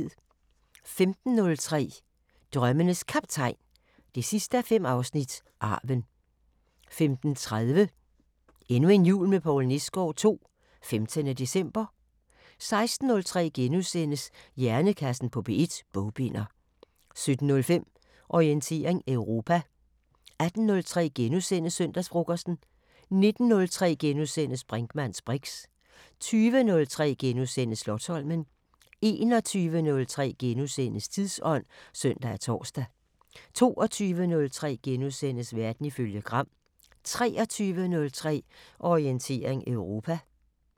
15:03: Drømmenes Kaptajn 5:5 – Arven 15:30: Endnu en jul med Poul Nesgaard II – 15. december 16:03: Hjernekassen på P1: Bogbinder * 17:05: Orientering Europa 18:03: Søndagsfrokosten * 19:03: Brinkmanns briks * 20:03: Slotsholmen * 21:03: Tidsånd *(søn og tor) 22:03: Verden ifølge Gram * 23:03: Orientering Europa